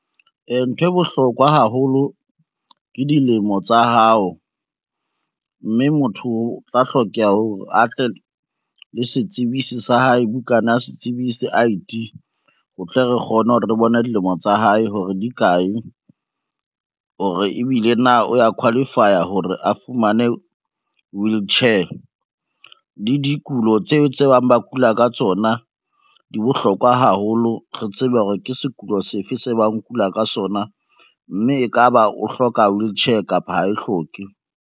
Ntho e bohlokwa haholo ke dilemo tsa hao, mme motho o tla hlokeha hore a tle le setsibise sa hae, bukana ya setsibise I_D. O tle re kgone hore re bone dilemo tsa hae hore di kae, hore ebile na o ya qualify-a hore a fumane wheelchair. Le dikulo tseo tse bang ba kula ka tsona di bohlokwa haholo, re tsebe hore ke sekolo sefe se bang o kula ka sona, mme e ka ba o hloka wheelchair kapa ha e hloke.